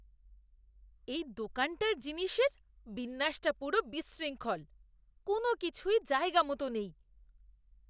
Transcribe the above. এই দোকানটার জিনিসের বিন্যাসটা পুরো বিশৃঙ্খল। কোনওকিছুই জায়গামতো নেই।